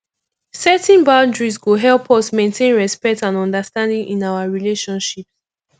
setting boundaries go help us maintain respect and understanding in our relationships